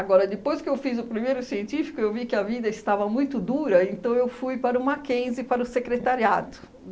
Agora, depois que eu fiz o primeiro científico, eu vi que a vida estava muito dura, então eu fui para o Mackenzie, para o secretariado.